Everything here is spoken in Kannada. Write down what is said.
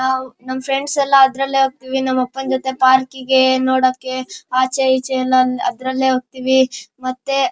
ನಾವು ನಮ್ ಫ್ರೆಂಡ್ಸ್ ಎಲ್ಲ ಅದರಲ್ಲೇ ಹೋಗತೀವಿ ನಮ್ ಅಪ್ಪನ ಜೊತೆ ಪಾರ್ಕಿಗೆ ನೋಡಕೆ ಆಚೆ ಈಚೆ ಅಂತ ಅದ್ರಲ್ಲೇ ಹೋಗತೀವಿ ಮತ್ತೆ--